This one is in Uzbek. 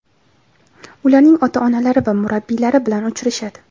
ularning ota-onalari va murabbiylari bilan uchrashadi.